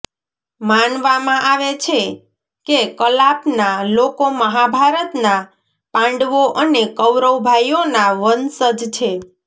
માનવામાં આવે છે કે કલાપના લોકો મહાભારતના પાંડવો અને કૌરવ ભાઈઓના વંશજ છે